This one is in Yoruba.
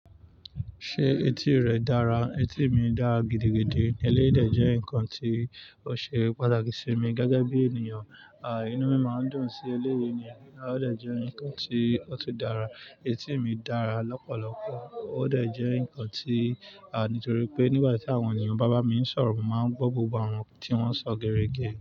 Ṣé etí rẹ dára? Etí mi dára gidigidi. Eléyii dè jẹ́ nǹkan tí ó ṣe pàtàkì sí mi gẹ́gẹ́ bí ènìyàn. À, inú mi máa ń dùn sí eléyè ni, ó dè jẹ́ ǹkan tí ó tun dára. Etí mi dára lọ́pọ̀lọpọ̀, ó dè jẹ́ ǹkan tí, à nítorí pé nígbà tí àwọn ènìyàn, bàbá mi ń sọ̀rọ̀, mo máa ń gbọ́ gbogbo àwọn tí wọ́n ń sọ gere ge.